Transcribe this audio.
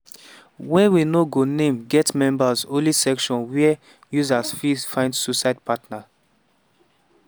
wey we no go name get members only section wia users fit find suicide partner.